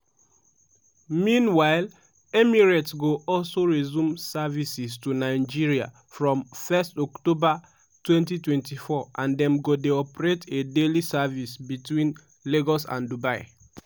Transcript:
meanwhile emirates go also resume services to nigeria from 1 october 2024 and dem go dey operate a daily service between lagos and dubai.